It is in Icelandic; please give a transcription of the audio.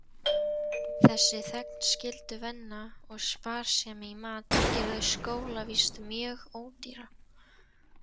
Þessi þegnskylduvinna og sparsemi í mat gerðu skólavist mjög ódýra.